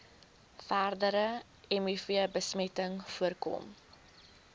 verdere mivbesmetting voorkom